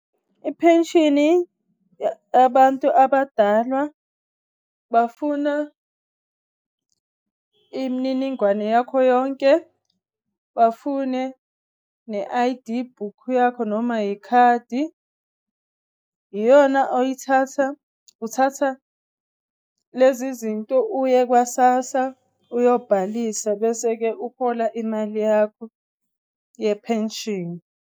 I-pension abantu abadalwa bafuna imniningwane yakho yonke. Bafune ne-I_D book yakho noma ikhadi. Iyona oyithatha, uthatha lezi zinto uye kwa-SASSA uyobhalisa. Bese-ke uhola imali yakho ye-pension.